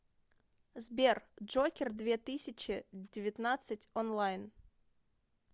сбер джокер две тысячи девятнадцать онлайн